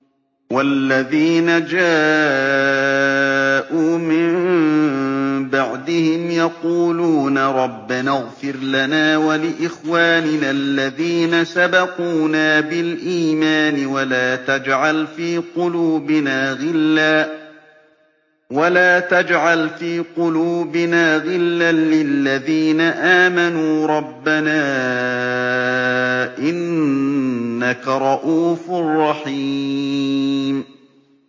وَالَّذِينَ جَاءُوا مِن بَعْدِهِمْ يَقُولُونَ رَبَّنَا اغْفِرْ لَنَا وَلِإِخْوَانِنَا الَّذِينَ سَبَقُونَا بِالْإِيمَانِ وَلَا تَجْعَلْ فِي قُلُوبِنَا غِلًّا لِّلَّذِينَ آمَنُوا رَبَّنَا إِنَّكَ رَءُوفٌ رَّحِيمٌ